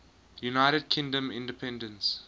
united kingdom independence